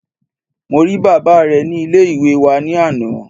Mo rí bàbá re ni Ilé ìwé wa ní àná